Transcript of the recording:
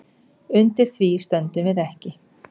Undir því stöndum við ekki